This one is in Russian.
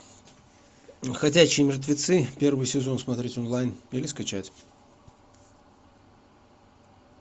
ходячие мертвецы первый сезон смотреть онлайн или скачать